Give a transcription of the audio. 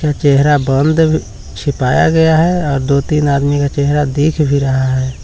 इनका चेहरा बन्द भी छिपाया गया है और दो तीन आदमी का चेहरा दिख भी रहा है।